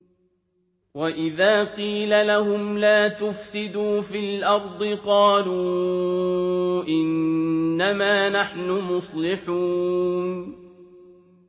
وَإِذَا قِيلَ لَهُمْ لَا تُفْسِدُوا فِي الْأَرْضِ قَالُوا إِنَّمَا نَحْنُ مُصْلِحُونَ